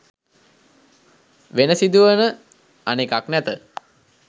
වෙන සිදුවන අනෙකක් නැත